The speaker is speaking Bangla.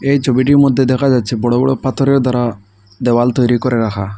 এই ছবিটির মধ্যে দেখা যাচ্ছে বড় বড় পাথরের দ্বারা দেওয়াল তৈরি করে রাখা।